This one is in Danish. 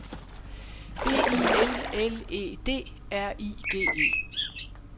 B I L L E D R I G E